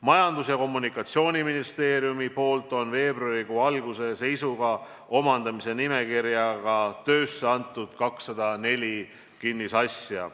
Majandus- ja Kommunikatsiooniministeerium on veebruarikuu alguse seisuga andnud omandamise nimekirja raames töösse 204 kinnisasja.